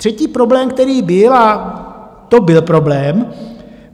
Třetí problém, který byl, a to byl problém.